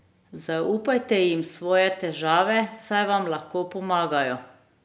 Zaupajte jim svoje težave, saj vam lahko pomagajo.